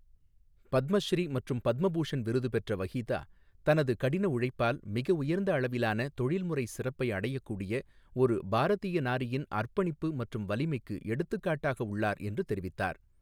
பத்மஸ்ரீ மற்றும் பத்ம பூஷண் விருது பெற்ற வஹீதா, தனது கடின உழைப்பால் மிக உயர்ந்த அளவிலான தொழில்முறை சிறப்பை அடையக்கூடிய ஒரு பாரதிய நாரியின் அர்ப்பணிப்பு மற்றும் வலிமைக்கு எடுத்துக்காட்டாக உள்ளார் என்று தெரிவித்தார்.